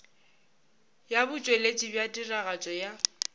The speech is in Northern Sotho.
ya botšweletši bja tiragatšo ya